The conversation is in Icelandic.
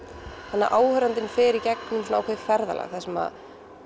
þannig að áhorfandinn fer í gegnum ákveðið ferðalag þar sem